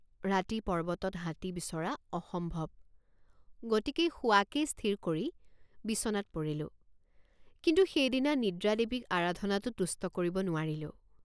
ৰাতি পৰ্বতত হাতী বিচৰা অসম্ভৱগতিকেই শোৱাকে স্থিৰ কৰি বিচনাত পৰিলোঁ কিন্তু সেইদিনা নিদ্ৰাদেৱীক আৰাধনাতো তুষ্ট কৰিব নোৱাৰিলোঁ।